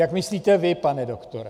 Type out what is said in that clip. Jak myslíte vy, pane doktore.